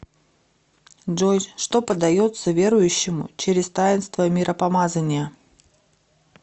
джой что подается верующему через таинство миропомазания